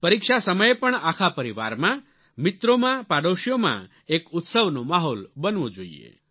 પરીક્ષા સમયે પણ આખા પરિવારમાં મિત્રોમાં પડોશીઓમાં એક ઉત્સવનો માહોલ બનવો જોઈએ